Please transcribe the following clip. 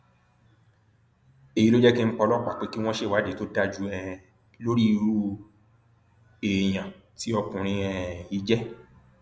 èyí ló jẹ kí n pe ọlọpàá pé kí wọn ṣèwádìí tó dájú um lórí irú èèyàn tí ọkùnrin um yìí jẹ